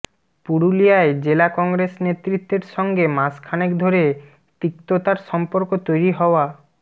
পুরুলিয়ায় জেলা কংগ্রেস নেতৃত্বের সঙ্গে মাসখানেক ধরে তিক্ততার সম্পর্ক তৈরি হওয়া